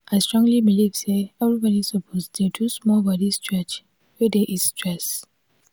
i strongly believe say everybody suppose dey do small body stretch wey dey ease stress.